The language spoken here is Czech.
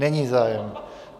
Není zájem.